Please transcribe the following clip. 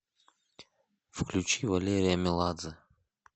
включи валерия меладзе